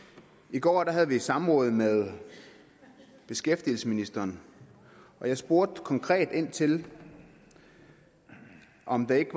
i går havde vi et samråd med beskæftigelsesministeren og jeg spurgte konkret ind til om det ikke